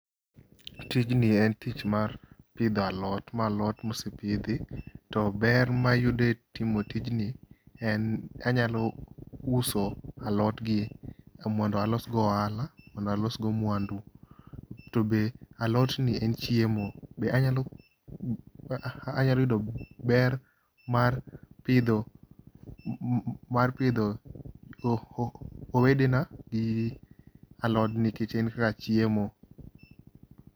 Tijni en tich mar pidho alot. Ma alot ma osepidhi to ber mayudo e timo tijni, anyalo uso alot gi mondo alos go ohala mondo alos go mwandu. Be alot gi en chiemo. Be anyalo yudo ber mar pidho, mar pidho wedena gi alodni nikech en ga chiemo